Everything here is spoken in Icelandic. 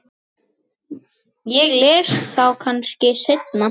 Ég les þá kannski seinna.